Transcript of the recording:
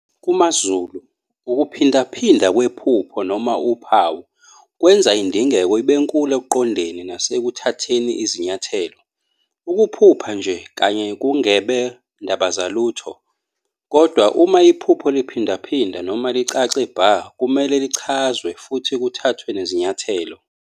KumaZulu, ukuphindaphinda kwephupho noma uphawu, kwenza indingeko ibenkulu ekuqondeni nasekuthatheni izinyathelo. Ukuphupha nje kanye kungebe ndabazalutho, kodwa uma iphupho liphindaphinda noma licace bha, kumele lichazwe futhi kuthathwe nezinyathelo.